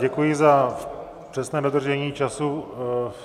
Děkuji za přesné dodržení času.